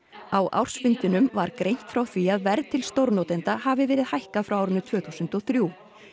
á ársfundinum var greint frá því að verð til stórnotenda hafi verið hækkað frá árinu tvö þúsund og þrjú